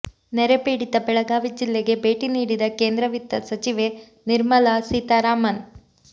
ನೆರೆ ಪೀಡಿತ ಬೆಳಗಾವಿ ಜಿಲ್ಲೆಗೆ ಭೇಟಿ ನೀಡಿದ ಕೇಂದ್ರ ವಿತ್ತ ಸಚಿವೆ ನಿರ್ಮಲಾ ಸೀತಾರಾಮನ್